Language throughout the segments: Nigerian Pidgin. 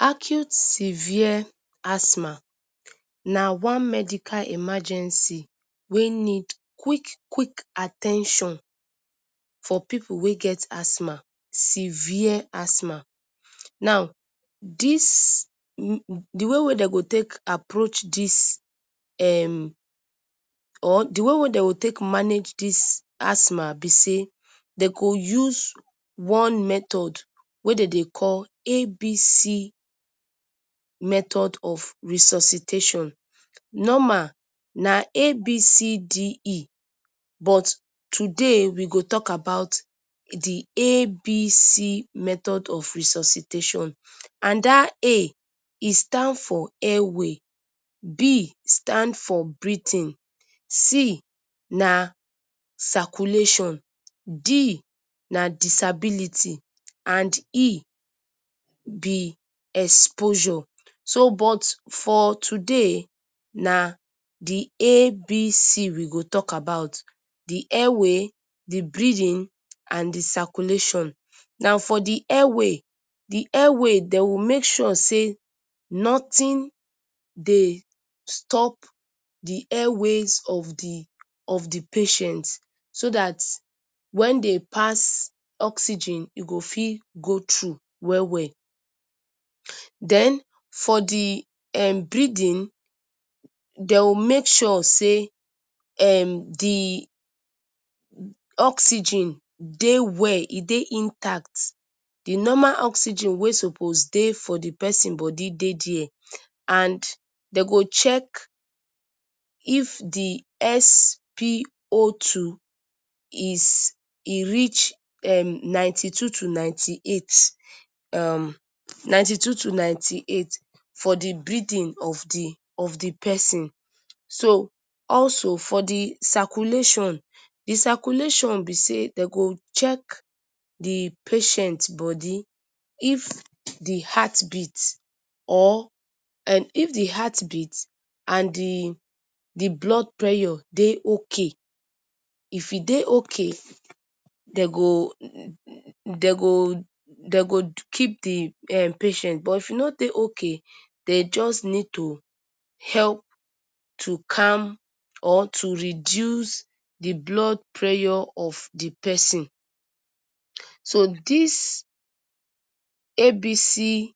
Acute Severe Asthma, na one medical emergency, wen need quick quick at ten tion for pipu wey get asthma, severe asthma. Now, dis na way wey dem go take approach dis, or d way wey dey go take manage dis asthma be sey, dey go use one method, wey dem dey call ABC Method of resuscitation Normal na ABCDE But today we go talk about the ABC method of resuscitation And dat A e stand for airway B stand for breathing C na circulation,D na disability and E be exposure. so But for today, na d ABC we go talk about d airway, d breathing, and d circulation. Now, for d airway, d airway, dey go make sure say nothing, dey stop d airways of d of d patient so dat when dey pass oxygen, e go fit go thru well well. Den, for d um breathing, dey go make sure, say um, d oxygen dey well, dey intact, d normal oxygen, wey suppose for the persin body, dey there. And dey go check if the SpO two is e reach ninety two to ninety eight um ninety two to ninety eight for d breathing of d of d person. So, also for d circulation, d circulation, be sey, Dey go check d patient body if d heart beat or um, if d heart beat and d blood pressure, dey okay. If e dey okay, dem go dem go dem go keep d patient, but if e no Dey okay dem go jus need to help to calm or to reduce d blood pressure of d persin, so dis ABC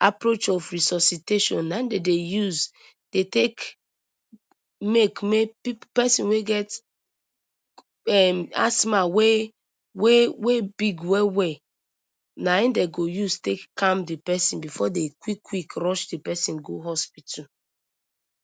approach of resuscitation na hin dem Dey use Dey take make may person wey get asthma um wey wey wey big well well Na hin dem go use take calm d persin before dem quick quick rush the person go hospital.